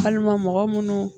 Walima mɔgɔ munnu